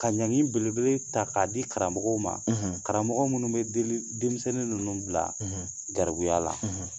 Ka nani belebele ta k'a di Karamɔgɔw ma; ; Karamɔgɔw munnu bɛ denmisɛnnin ninnu bila garibuya la.